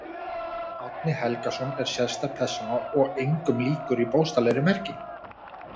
Árni Helgason er sérstæð persóna og engum líkur í bókstaflegri merkingu.